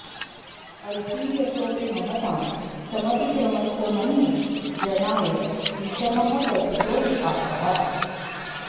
अल्पीयसोऽपि महतां समतिक्रमस्य मन्ये जनाय विषमः कथितो विपाकः